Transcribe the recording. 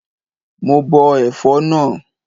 Mo bọ ẹ̀fọ́ náà.